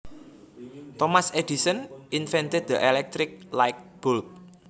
Thomas Edison invented the electric light bulb